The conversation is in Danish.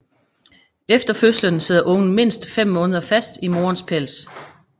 Efter fødslen sidder ungen mindst fem måneder fast i morens pels